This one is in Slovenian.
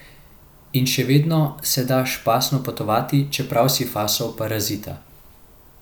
In še vedno se da špasno potovati, čeprav si fasal parazita.